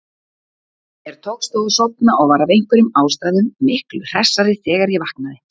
Mér tókst þó að sofna og var af einhverjum ástæðum miklu hressari þegar ég vaknaði.